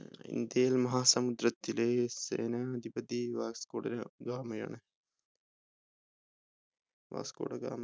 ഏർ ഇന്ത്യയിൽ മഹാസമുദ്രത്തിലെ സേനാധിപതി വാസ്കോ ഡ ഗാമയാണ് വാസ്കോ ഡ ഗാമ